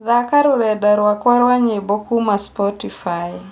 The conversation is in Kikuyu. thaaka rũrenda rwakwa rwa nyĩmbo kuuma spotify